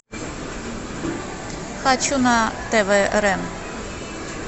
хочу на тв рен